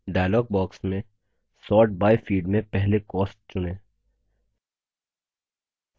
dialog box में sort by field में पहले cost चुनें